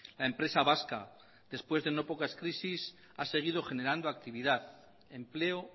la empresa vasca después de no pocas crisis ha seguido generando actividad empleo